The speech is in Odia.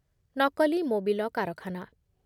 ନକଲି ମୋବିଲ କାରଖାନା